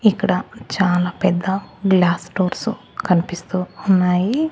ఇక్కడ చాలా పెద్ద గ్లాస్ డోర్సు కన్పిస్తూ ఉన్నాయి.